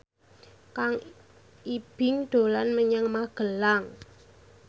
Kang Ibing dolan menyang Magelang